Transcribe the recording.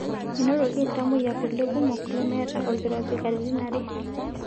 Enotoki iltamoyiak kulie kumok lemeeta olkirobi katitin are.